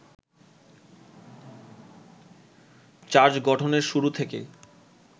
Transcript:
charge গঠনের শুরু থেকেই